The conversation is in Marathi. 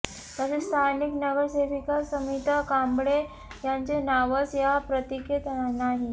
तसेच स्थानिक नगरसेविका समिता कांबळे यांचे नावच या पत्रिकेत नाही